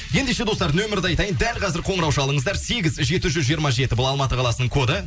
ендеше достар нөмірді айтайын дәл қазір қоңырау шалыңыздар сегіз жүз жеті жүз жиырма жеті бұл алматы қаласының коды